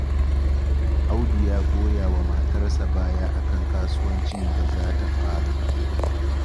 Audu ya goya wa matarsa baya a kan kasuwancin da ta fara